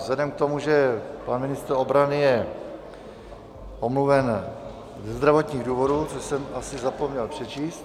Vzhledem k tomu, že pan ministr obrany je omluven ze zdravotních důvodů, což jsem asi zapomněl přečíst...